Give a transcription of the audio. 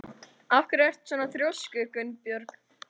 Af hverju ertu svona þrjóskur, Gunnbjörg?